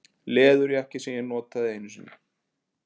Leðurjakki sem ég notaði einu sinni